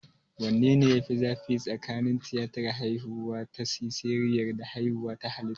Wanne ne ya fi zafi tsakanin tiyatar haihuwa ta siseriyan da haihuwa ta halitta?